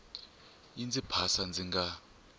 yi ndzi phasa ndzi nga